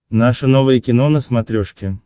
наше новое кино на смотрешке